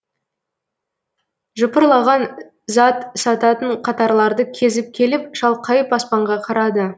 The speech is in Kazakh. жыпырлаған зат сататын қатарларды кезіп келіп шалқайып аспанға қарады